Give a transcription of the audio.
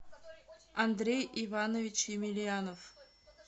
андрей иванович емельянов